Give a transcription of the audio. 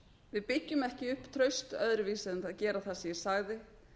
við byggjum ekki upp traust öðruvísi en gera það sem ég sagði